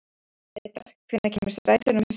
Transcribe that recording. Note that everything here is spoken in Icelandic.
Gretar, hvenær kemur strætó númer sex?